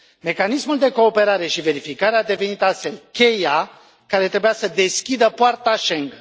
Mecanismul de Cooperare și Verificare a devenit astfel cheia care trebuia să deschidă poarta Shengen.